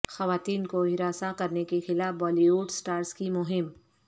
خواتین کو ہراساں کرنے کے خلاف بالی وڈ سٹارز کی مہم